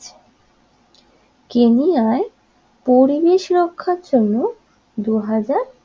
কেনিয়ায় পরিবেশ রক্ষার জন্য দুই হাজার